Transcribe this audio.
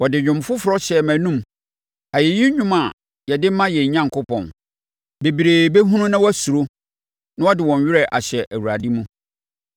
Ɔde dwom foforɔ hyɛɛ mʼanom, ayɛyi dwom a yɛde ma yɛn Onyankopɔn. Bebree bɛhunu na wɔasuro na wɔde wɔn werɛ ahyɛ Awurade mu.